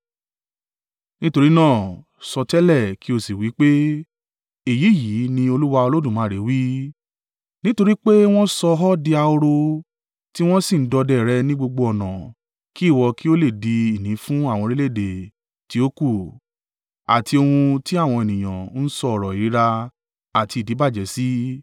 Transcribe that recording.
Nítorí náà, sọtẹ́lẹ̀ kí ó sì wí pé, ‘Èyí yìí ni Olúwa Olódùmarè wí: Nítorí pé wọn sọ ọ di ahoro, tí wọn sì ń dọdẹ rẹ ní gbogbo ọ̀nà kí ìwọ kí ó lè di ìní fún àwọn orílẹ̀-èdè tí ó kù, àti ohun ti àwọn ènìyàn ń sọ ọ̀rọ̀ ìríra àti ìdíbàjẹ́ sí,